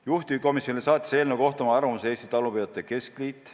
Juhtivkomisjonile saatis eelnõu kohta oma arvamuse Eesti Talupidajatele Keskliit.